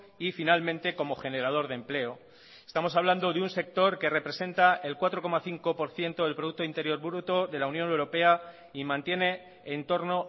y finalmente como generador de empleo estamos hablando de un sector que representa el cuatro coma cinco por ciento del producto interior bruto de la unión europea y mantiene entorno